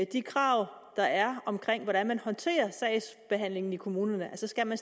de krav der er om hvordan man håndterer sagsbehandlingen i kommunerne skal man